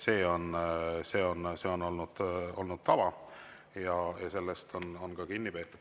See on olnud tava ja sellest on ka kinni peetud.